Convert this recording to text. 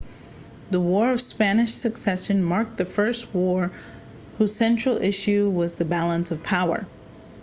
the war of spanish succession marked the first war whose central issue was the balance of power